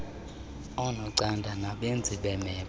oonocanda nabenzi beemephu